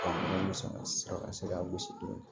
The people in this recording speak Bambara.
ka se k'a gosi dɔɔni